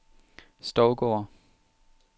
Stovgård